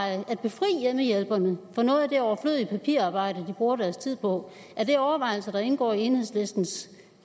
at befri hjemmehjælperne for noget af det overflødige papirarbejde de bruger deres tid på er det overvejelser der indgår i enhedslistens